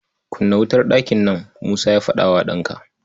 "Kunna wutar ɗakin nan!" Musa ya faɗa wa ɗanka.